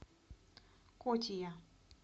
котия